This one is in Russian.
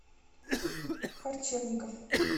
харчевников